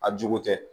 A jugu tɛ